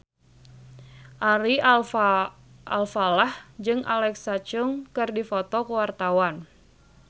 Ari Alfalah jeung Alexa Chung keur dipoto ku wartawan